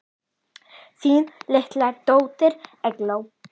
Þín litla dóttir, Eygló.